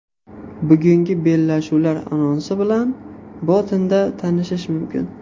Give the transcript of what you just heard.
Bugungi bellashuvlar anonsi bilan botinda tanishish mumkin.